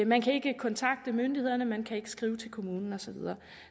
man kan ikke kontakte myndighederne man kan ikke skrive til kommunen og så videre